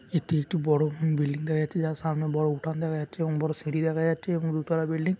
এটি একটি বড় বিল্ডিং দেখা যাচ্ছে যার সামনে বড় উঠান দেখা যাচ্ছে এবং বড় সিঁড়ি দেখা যাচ্ছে এবং দু তালা বিল্ডিং --